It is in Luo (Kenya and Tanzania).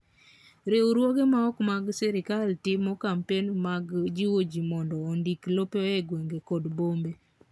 Riwruoge ma ok mag sirkal timo kampen mag jiwo ji mondo ondiki lope e gwenge kod bombe.